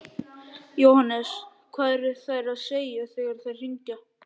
Jóhannes: Hvað eru þær að segja þegar þær hringja?